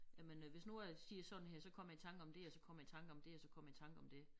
Jamen øh hvis nu jeg siger sådan her så kommer jeg i tanker om det og så kommer jeg i tanker om det og så kommer jeg i tanker om det